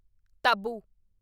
taboo